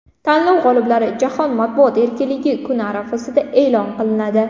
Tanlov g‘oliblari Jahon matbuoti erkinligi kuni arafasida e’lon qilinadi.